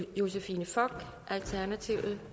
de betingelser